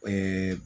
Ee